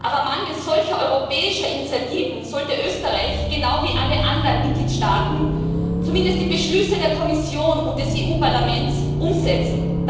Aber mangels solcher europäischer Initiativen sollte Österreich genau wie alle anderen Mitgliedstaaten zumindest die Beschlüsse der Kommission und des EU Parlaments umsetzen.